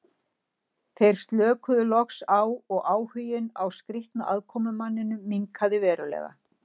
Þeir slökuðu loks á og áhuginn á skrýtna aðkomumanninum minnkaði verulega.